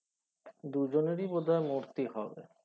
দু জনোরি বোধহয় মূর্তি হবে